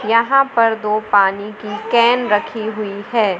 यहां पर दो पानी की कैन रखी हुई है।